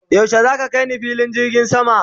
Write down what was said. yaushe zaka kaini filin jirgin sama?